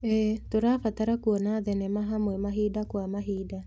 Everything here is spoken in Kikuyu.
ĩĩ, tũrabanga kuona thenema hamwe mahinda kwa mahinda.